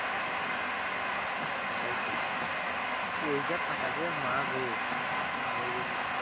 ওটাই তো coach যা খাটাচ্ছে মাগো। মরে গেছি